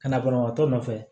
Ka na banabagatɔ nɔfɛ